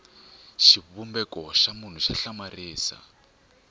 xivumbeko xa munhu xa hlamarisa